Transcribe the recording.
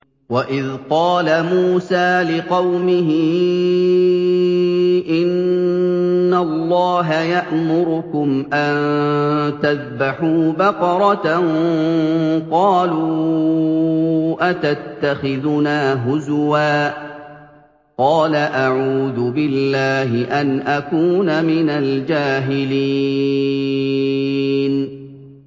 وَإِذْ قَالَ مُوسَىٰ لِقَوْمِهِ إِنَّ اللَّهَ يَأْمُرُكُمْ أَن تَذْبَحُوا بَقَرَةً ۖ قَالُوا أَتَتَّخِذُنَا هُزُوًا ۖ قَالَ أَعُوذُ بِاللَّهِ أَنْ أَكُونَ مِنَ الْجَاهِلِينَ